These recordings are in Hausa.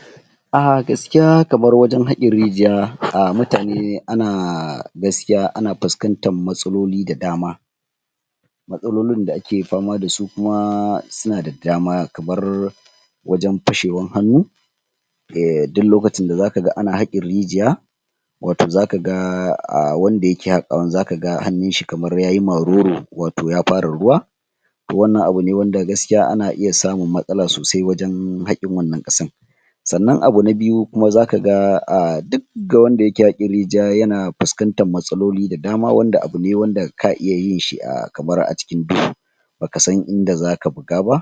? a gaskiya kamar wajen haƙin rijiya mutane ana gaskiya ana puskantan matsaloli da dama matsalolin da ake pama dasu kuma suna da dama kamar wajen pashewan hannu duk lokacin da zaka ga ana haƙin rijiya wato zaka ga wanda yake haƙawan zaka ga hannun shi kamar yayi maruru wato ya fara ruwa to wannan abu ne wanda gaskiya ana iya samun matsala sosai wajen haƙin wannan ƙasan sannan abu na biyu kuma zaka ga a duk wanda yake haƙin rijiya yana puskantan matsaloli da dama wanda abu ne wanda ka iya yin shi kamar a cikin duhu ba ka san inda zaka buga ba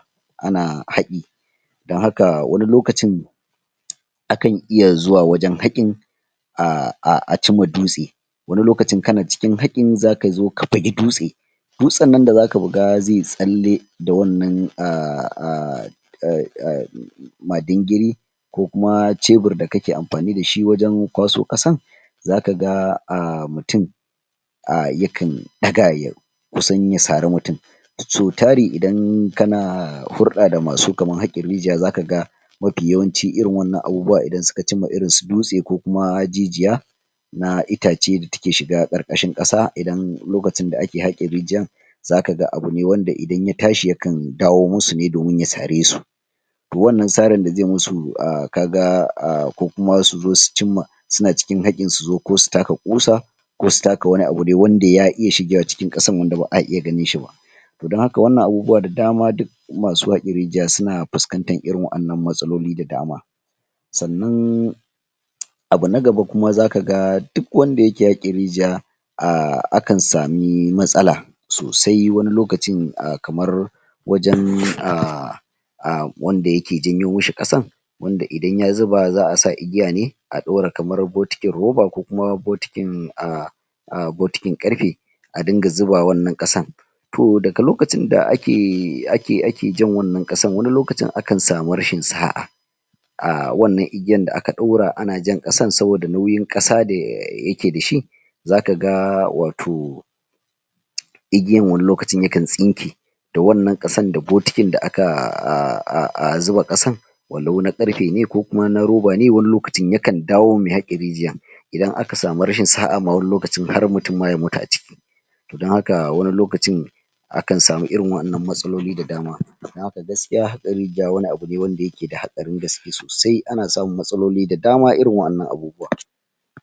ana haƙi don haka wani lokacin? akan iya zuwa wajen haƙin a ci ma dutse wani lokacin kana cikin haƙin zaka zo ka buge dutse dutsen nan da zaka buga zai yi tsalle da wannan? madingiri ko kuma chebir da kake ampani dashi wajen kwaso ƙasan zaka ga mutum yakan ɗaga ya kusan ya sari mutun so tari idan kana hurɗa da masu kaman haƙin rijiya zaka ga mafi yawanci irin wannan abubuwa idan su ka cimma irin su dutse ko kuma jijiya na itace da take shiga ƙarƙashin ƙasa idan lokacin da ake haƙin rijiyan zaka ga abu ne wanda idan ya tashi ya kan dawo musu ne domin ya sare su to wannan sarin da zai musu kaga ko kuma su zo su cimma suna cikin haƙin su zo ko su taka ƙusa ko su taka wani abu dai wanda ya iya shigewa cikin ƙasan wanda ba'a iya ganinshi ba to don haka wannan abubuwa da dama duk masu haƙin rijiya suna puskantan irin wa'annan matsaloli da dama sannan? abu na gaba kuma zaka ga duk wanda yake haƙin rijiya ah akan sami matsala sosai wani lokacin a kamar wajen wanda yake janyo mishi ƙasan wanda idan ya zuba za'a sa igiya ne a dora kamar botikin roba ko kuma botikin botikin ƙarpe a dinga zuba wannan ƙasan to daga lokacin da ake jan wannan ƙasan wani lokacin akan samu rashin sa'a a wannan igiyan da aka daura ana jan ƙasan saboda nauyin ƙasa da yake dashi zaka ga wato? igiyan wani likacin yakan tsinke da wannan ƙasan da botikin da aka zuba ƙasan walau na ƙarpe ne ko kuma na roba ne wani lokacin ya kan dawo ma mai haƙin rijiyan idan aka samu rashin sa'a ma wani lokacin har mutun ma ya mutu a ciki to don haka wani lokacin akan samu irin wa'annan matsaloli da dama a don haka gaskiya haƙa rijiya wani abu ne wanda yake da haɗarin gaske sosai ana samun matsaloli da dama irin wa'annan abubuwan?